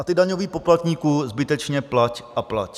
A ty, daňový poplatníku, zbytečně plať a plať.